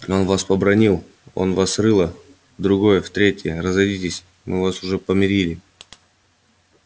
он вас побранил он вас в рыло а вы его в ухо в другое в третье и разойдитесь а мы вас уж помирили